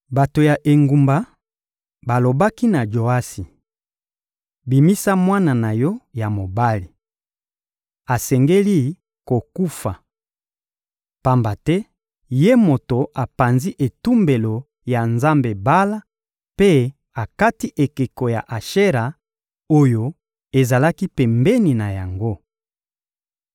Bato ya engumba balobaki na Joasi: — Bimisa mwana na yo ya mobali. Asengeli kokufa. Pamba te ye moto apanzi etumbelo ya nzambe Bala mpe akati ekeko ya Ashera oyo ezalaki pembeni na yango.